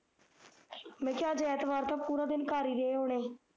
ਮੈਂ ਕਿਹਾ ਅੱਜ ਐਤਵਾਰ ਤਾ ਪੂਰਾ ਦਿਨ ਘਰ ਈ ਰਹੇ ਹੋਣੇ